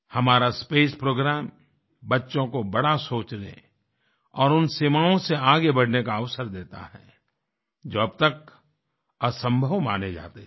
हमारा space programme बच्चों को बड़ा सोचने और उन सीमाओं से आगे बढ़ने का अवसर देता है जो अब तक असंभव माने जाते थे